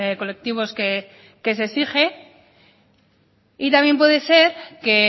colectivos que se exige y también puede ser que